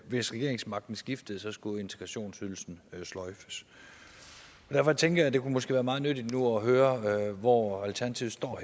hvis regeringsmagten skiftede skulle integrationsydelsen sløjfes derfor tænker jeg at det måske kunne være meget nyttigt nu at høre hvor alternativet står